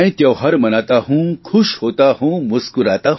मैं त्योहार मनाता हुं खुश होता हुं मुस्कुराता हुं